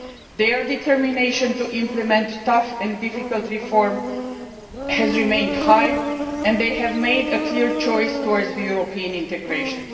Their determination to implement tough and difficult reforms has remained high and they have made a clear choice for European integration.